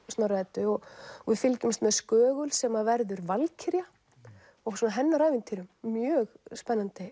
Snorra Eddu og við fylgjumst með sem verður valkyrja og hennar ævintýrum mjög spennandi